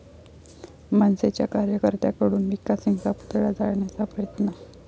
मनसेच्या कार्यकर्त्यांकडून मिका सिंगचा पुतळा जाळण्याचा प्रयत्न